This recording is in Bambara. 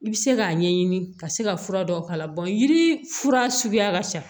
I bɛ se k'a ɲɛɲini ka se ka fura dɔw k'a la yiri fura suguya ka ca